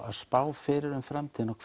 að spá fyrir framtíðinni og